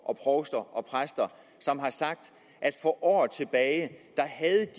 provster og præster som har sagt at de for år tilbage havde